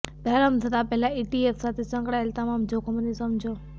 પ્રારંભ થતાં પહેલાં ઇટીએફ સાથે સંકળાયેલા તમામ જોખમોને સમજો